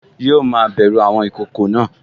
Yíò ma bẹ̀ru àwọn ìkokò náà